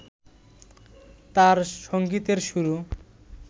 তাঁর সঙ্গীতের শুরু